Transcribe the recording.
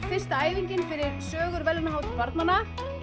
fyrsta æfingin fyrir sögur verðlaunahátíð barnanna